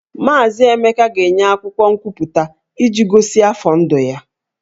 Maazị Emeka ga-enye akwụkwọ nkwupụta iji gosi afọ ndụ ya